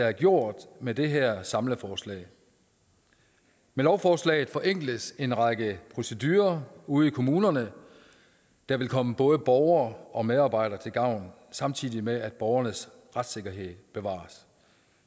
har gjort med det her samleforslag med lovforslaget forenkles en række procedurer ude i kommunerne der vil komme både borgere og medarbejdere til gavn samtidig med at borgernes retssikkerhed bevares